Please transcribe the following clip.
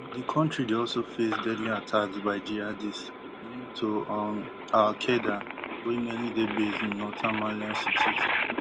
um di kontri dey also face deadly attacks by jihadists linked to um al qaeda wey mainly dey based in northern malian cities